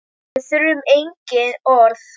Við þurfum engin orð.